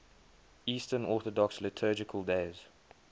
eastern orthodox liturgical days